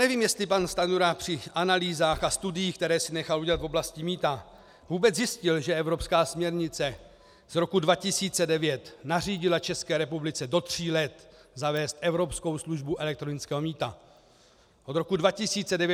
Nevím, jestli pan Stanjura při analýzách a studiích, které si nechal udělat v oblasti mýta, vůbec zjistil, že evropská směrnice z roku 2009 nařídila České republice do tří let zavést evropskou službu elektronického mýta, od roku 2009 do roku 2012, 9. října.